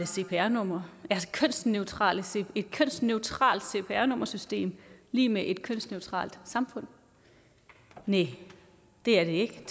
cpr numre er et kønsneutralt cpr nummersystem lig med et kønsneutralt samfund næh det er det ikke